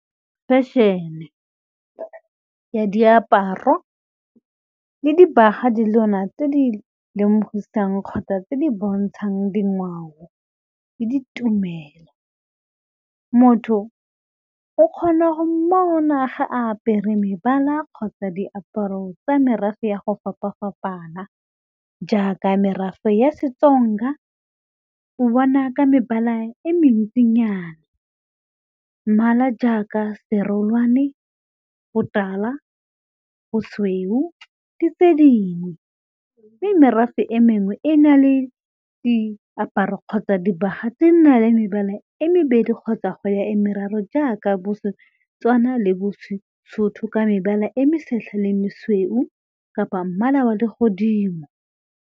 Fashion-e ya diaparo le dibaga tse di lemogisang kgotsa tse di bontshang dingwao le ditumelo, motho o kgona go mmona ga a apere mebala kgotsa diaparo tsa merafe ya go fapafapana jaaka merafe ya seTsonga o bona ka mebala e mentsinyana mmala jaaka serolwane, botala, bosweu le tse dingwe mme merafe e mengwe e na le diaparo tsa dibaga tse di nang le mebala e mebedi kgotsa go ya e meraro jaaka bo seTswana le bo seSotho ka mebala e mesetlha le e mesweu kapa mmala wa legodimo.